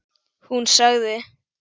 Hún sagði